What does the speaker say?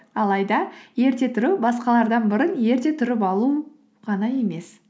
алайда ерте тұру басқалардан бұрын ерте тұрып алу ғана емес